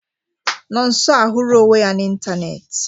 Nọnso ahụra onwe ya na ịntanetị.